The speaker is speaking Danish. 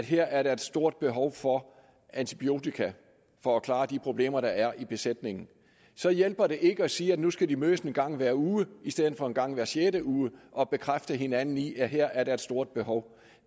her er et stort behov for antibiotika for at klare de problemer der er i besætningen så hjælper det ikke at sige at de nu skal mødes en gang hver uge i stedet for en gang hver sjette uge og bekræfte hinanden i at der her er et stort behov